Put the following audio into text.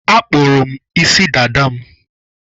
Akpụrụ m isi dada m.